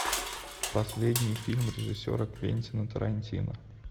последний фильм режиссера квентина тарантино